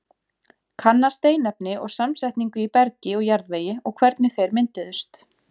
Kanna steinefni og samsetningu í bergi og jarðvegi og hvernig þeir mynduðust.